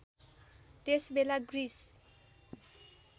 त्यस बेला ग्रिस